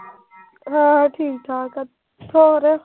ਹਾਂ ਠੀਕ-ਠਾਕ ਆ। ਹੋਰ।